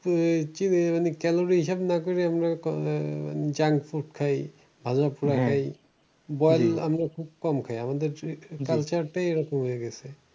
আহ কেন যে এইসব না করে? আমরা junk food খাই। আমরা খুব কম খাই। আমাদের culture টাই ওরকম হয়ে গেছে।